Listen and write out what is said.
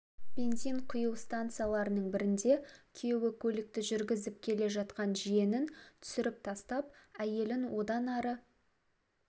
бензин құю станцияларының бірінде күйеуі көлікті жүргізіп келе жатқан жиенін түсіріп тастап әйелін одан ары